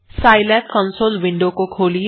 Scilab console window खोलिए